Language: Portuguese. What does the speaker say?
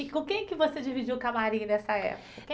E com quem que você dividiu o camarim nessa época?